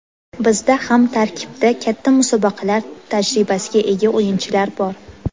Bizda ham tarkibda katta musobaqalar tajribasiga ega o‘yinchilar bor.